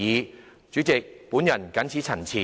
代理主席，我謹此陳辭。